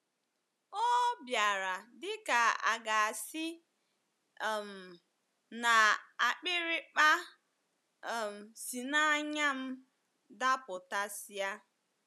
“ O bịara dị ka a ga-asị um na akpịrịkpa um si n’anya m Dapụtasịa ”